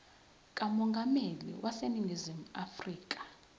kamongameli waseningizimu afrika